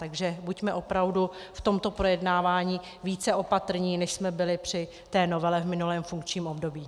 Takže buďme opravdu v tomto projednávání více opatrní, než jsme byli při té novele v minulém funkčním období.